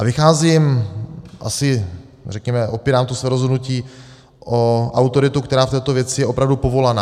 A vycházím asi, řekněme, opírám to své rozhodnutí o autoritu, která v této věci je opravdu povolaná.